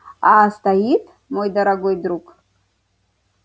а стоит мой дорогой друг